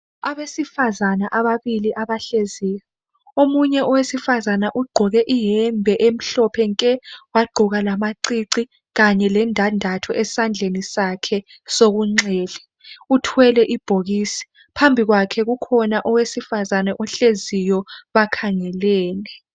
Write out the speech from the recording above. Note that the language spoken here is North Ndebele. Abesifazana ababili abahleziyo . Omunye owesifazana ugqoke iyembe emhlophe nke. Wagqoka lamacici kanye lendandatho esandleni sakhe sokunxele. Uthwele ibhokisi. Phambi kwakhe owesifazana ohleziyo, bakhangelene.